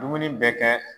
Dumuni bɛ kɛ